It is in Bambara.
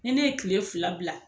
Ne ne ye kile fila bila